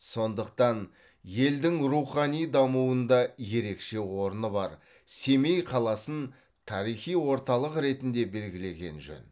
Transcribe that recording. сондықтан елдің рухани дамуында ерекше орны бар семей қаласын тарихи орталық ретінде белгілеген жөн